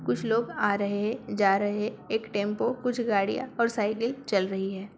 कुछ लोग आ रहे हैं जा रहे है। एक टेम्पो कुछ गड़ियाँ और साइकिल चल रही है।